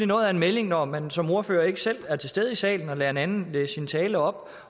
noget af en melding når man som ordfører ikke selv er til stede i salen og lader en anden læse sin tale op